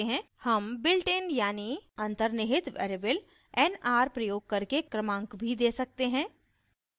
हम built इन यानी अन्तर्निहित variable nr प्रयोग करके क्रमांक भी we सकते हैं